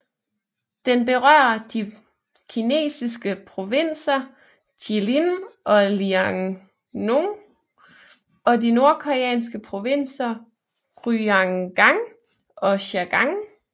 Den berører de kinesiske provinser Jilin og Liaoning og de nordkoreanske provinser Ryanggang og Chagang